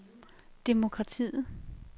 demokratiet